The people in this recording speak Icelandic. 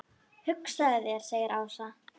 Hugsaðu þér segir Ása.